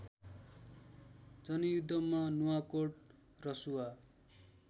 जनयुद्धमा नुवाकोट रसुवा